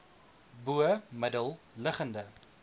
bo middel liggende